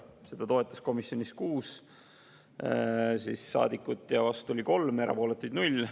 Seda toetas komisjonis 6 saadikut, vastu oli 3, erapooletuid oli 0.